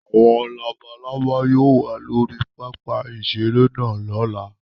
Àwọn labalábá yóò wà lórí pápá-ìṣeré náà lọ́la.